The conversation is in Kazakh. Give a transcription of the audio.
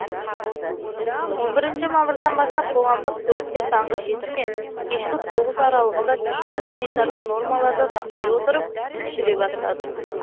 он бірінші мамырдан бастап қоғамдық көліктер таңғы жеті мен кешкі тоғыз аралығында тиісті санитарлық нормаларды сақтай отырып жүре бастады